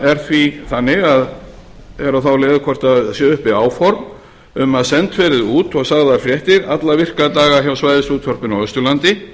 er á þá leið hvort séu uppi áform um að sent verði út og sagðar fréttir alla virka daga hjá svæðisútvarpinu á austurlandi